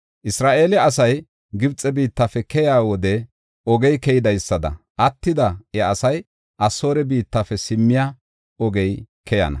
Isra7eele asay Gibxe biittafe keyiya wode ogey keydaysada, attida iya asay, Asoore biittafe simmiya ogey keyana.